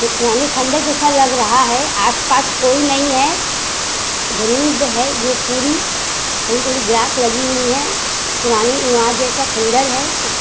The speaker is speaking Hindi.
ये पुराने खंडहर जैसा लग रहा है। आस-पास कोई नहीं है। जमीन बे है जो पूरी थोड़ी-थोड़ी ग्रास लगी हुई है। पुरानी इमारत जैसा खंडहर है। उस --